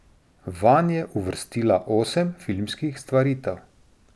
Vanj je uvrstila osem filmskih stvaritev.